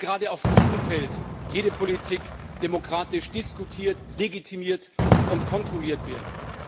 Dabei muss gerade auf diesem Feld jede Politik demokratisch diskutiert, legitimiert und kontrolliert werden.